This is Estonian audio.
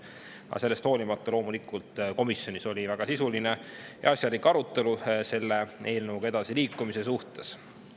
Aga sellest hoolimata oli komisjonis loomulikult väga sisuline ja asjalik arutelu selle eelnõuga edasiliikumise asjus.